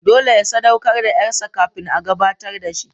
Dole ya sadaukar da ƴarsa kafin a gabatar da shi.